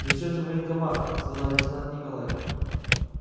зачем же в военкомат сказал лейтенант николай